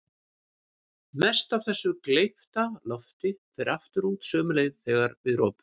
Mest af þessu gleypta lofti fer aftur út sömu leið þegar við ropum.